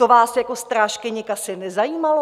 To vás jako strážkyni kasy nezajímalo?